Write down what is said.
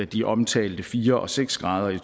de omtalte fire og seks grader i